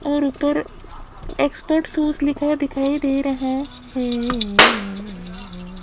और ऊपर expert shoes लिखा दिखाई दे रहा हैं--